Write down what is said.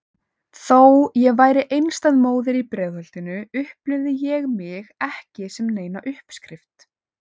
Þó ég væri einstæð móðir í Breiðholtinu upplifði ég mig ekki sem neina uppskrift.